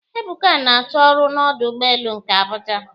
Ebuka na- achọ ọrụ n'ọdụ ụgbọelu nke Abuja